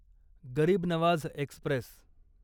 गरीब नवाझ एक्स्प्रेस